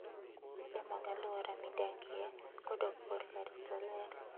Luw chike mag alwora midakie kodok korka rito ler.